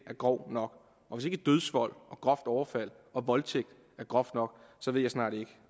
er grov nok og hvis ikke dødsvold og groft overfald og voldtægt er groft nok så ved jeg snart ikke